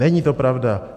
Není to pravda.